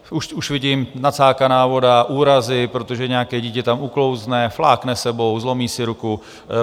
Už vidím - nacákaná voda, úrazy, protože nějaké dítě tam uklouzne, flákne sebou, zlomí si ruku.